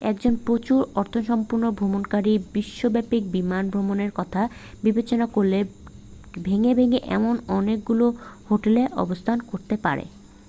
একজন প্রচুর অর্থসম্পন্ন ভ্রমণকারী বিশ্বব্যাপী বিমান ভ্রমণের কথা বিবেচনা করলে ভেঙ্গে ভেঙ্গে এমন অনেকগুলি হোটেলে অবস্থান করতে পারেন